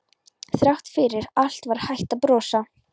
Þrátt fyrir allt var hægt að brosa.